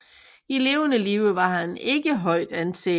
I levende live var han ikke højt anset